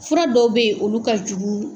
Fura dɔw bɛ yen olu ka jugu